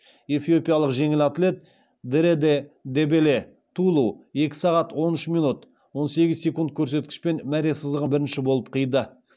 эфиопиялық жеңіл атлет дереде дебеле тулу екі сағат он үш минут он сегіз секунд көрсеткішпен мәре сызығын бірінші болып қиды